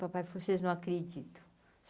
Papai, vocês não acreditam?